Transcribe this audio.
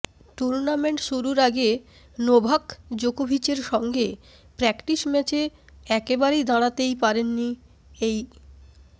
tournament শুরুর আগে Novak জোকোভিচের সঙ্গে প্র্যাকটিস ম্যাচে একেবারে দাঁড়াতেই পারেননি এই